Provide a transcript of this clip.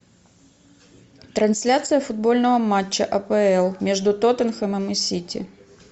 трансляция футбольного матча апл между тоттенхэмом и сити